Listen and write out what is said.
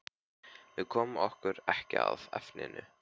Við komum okkur ekki að efninu.